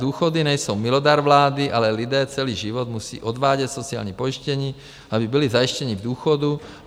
Důchody nejsou milodar vlády, ale lidé celý život musí odvádět sociální pojištění, aby byli zajištěni v důchodu.